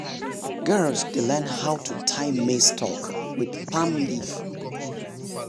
girls dey learn how to tie maize stalk with palm leaf.